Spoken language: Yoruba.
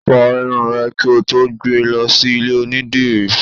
Fọ irun rẹ kí o tó gbé e lọ sí ilé onídìrí!